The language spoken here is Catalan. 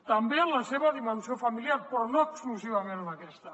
també en la seva dimensió familiar però no exclusivament en aquesta